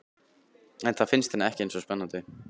En það finnst henni ekki eins spennandi.